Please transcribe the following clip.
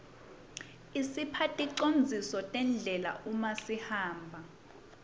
isipha ticondziso tendlela uma sihamba